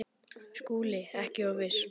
SKÚLI: Ekki of viss!